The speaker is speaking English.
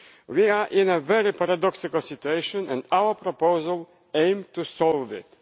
We are in a very paradoxical situation and our proposal aims to solve it.